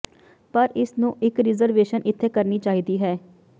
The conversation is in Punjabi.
ਪਰ ਇਸ ਨੂੰ ਇੱਕ ਰਿਜ਼ਰਵੇਸ਼ਨ ਇੱਥੇ ਕਰਨੀ ਚਾਹੀਦੀ ਹੈ